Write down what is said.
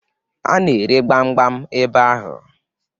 A na-ere gbamgbam ebe ahụ.